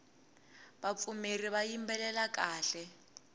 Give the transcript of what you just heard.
vapfumeri va yimbelela kahle